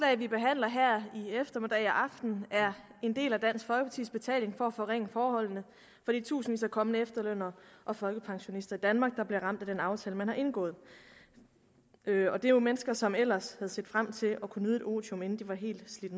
vi behandler her i eftermiddag og aften er en del af dansk folkepartis betaling for at forringe forholdene for de tusindvis af kommende efterlønnere og folkepensionister i danmark der bliver ramt af den aftale man har indgået det er jo mennesker som ellers havde set frem til at kunne nyde et otium inden de var helt slidt